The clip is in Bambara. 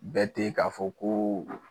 Bɛɛ te ka fɔ ko